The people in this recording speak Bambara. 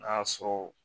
N'a y'a sɔrɔ